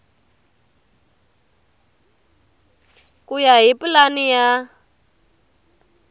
ku ya hi pulani ya